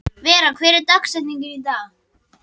Vera, hver er dagsetningin í dag?